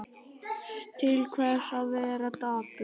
Til hvers að vera dapur?